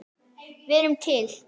Við erum til!